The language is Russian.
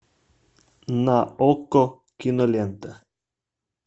на окко кинолента